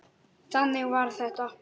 Þannig var þetta.